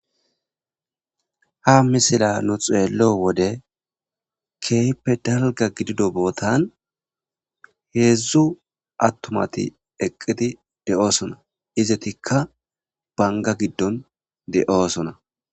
Ha misila nu xeello wode keeyppe dalga gidido bootan heedzdzu attumati eqqidi de'oosona izetikka banga giddon de'oosona.